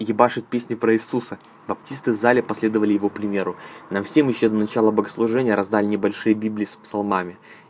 ебашит песни про иисуса баптисты в зале последовали его примеру нам всем ещё до начала богослужения раздали небольшие библии с псалмами